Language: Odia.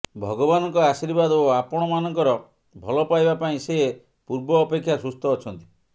ଭଗବାନଙ୍କ ଆଶୀର୍ବାଦ ଓ ଆପଣମାନଙ୍କର ଭଲପାଇବା ପାଇଁ ସେ ପୂର୍ବ ଅପେକ୍ଷା ସୁସ୍ଥ ଅଛନ୍ତି